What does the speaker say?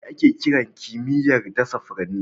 Me ake kira kimiyyar dasa furanni?